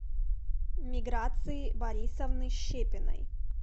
миграции борисовны щепиной